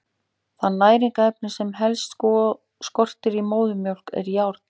Það næringarefni sem helst skortir í móðurmjólk er járn.